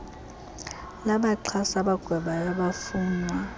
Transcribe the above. labaxhasi abagwebayo abafunwa